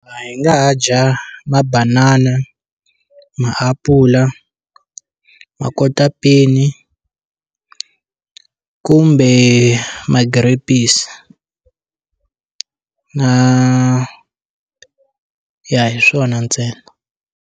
Hi nga dya ha mabanana, maapula makotapeni, kumbe ma-grapes na ya hi swona ntsena.